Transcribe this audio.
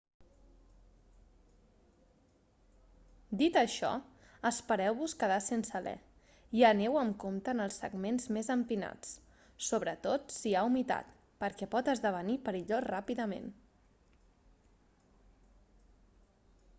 dit això espereu-vos quedar sense alè i aneu amb compte en els segments més empinats sobretot si hi ha humitat perquè pot esdevenir perillós ràpidament